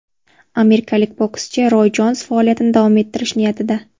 Amerikalik bokschi Roy Jons faoliyatini davom ettirish niyatida.